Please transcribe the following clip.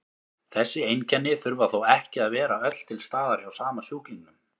Þessi einkenni þurfa þó ekki að vera öll til staðar hjá sama sjúklingnum.